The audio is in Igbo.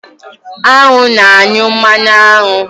Añụ na-anyụ mmanụ aṅụ.